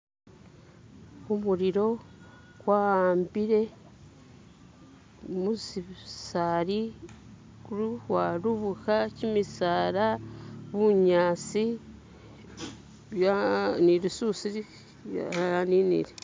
Khumulilo kwahambile <skip>musisali khurukukwarubuka kimisala bunyasi byawambile ni lisusi lyaninile